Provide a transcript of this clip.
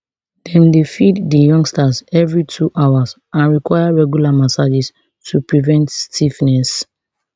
dem dey feed di youngsters evri two hours and require regular massages to prevent stiffness